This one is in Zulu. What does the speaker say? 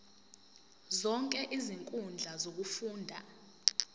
zonke izinkundla zokufunda